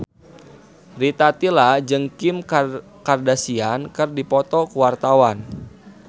Rita Tila jeung Kim Kardashian keur dipoto ku wartawan